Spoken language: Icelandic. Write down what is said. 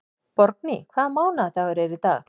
Borgný, hvaða mánaðardagur er í dag?